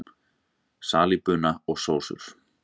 Salíbuna og sósur